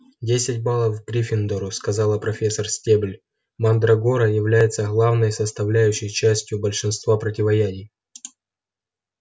десять баллов гриффиндору сказала профессор стебль мандрагора является главной составляющей частью большинства противоядий